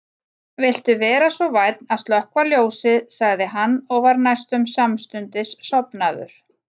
Viltu vera svo vænn að slökkva ljósið sagði hann og var næstum samstundis sofnaður.